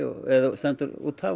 stendur út af